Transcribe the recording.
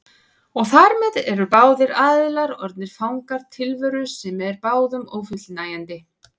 Og þar með eru báðir aðilar orðnir fangar tilveru sem er báðum ófullnægjandi.